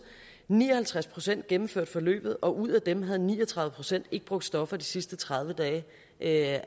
ni og halvtreds procent gennemførte forløbet og ud af dem havde ni og tredive procent ikke brugt stoffer de sidste tredive dage af